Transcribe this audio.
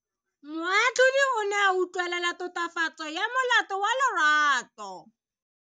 Moatlhodi o ne a utlwelela tatofatso ya molato wa Lerato.